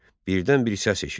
Birdən bir səs eşitdi.